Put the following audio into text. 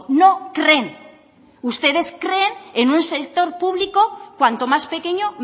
no creen ustedes creen en un sector público cuanto más pequeño